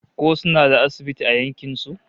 Ko suna da asibiti a yankin su?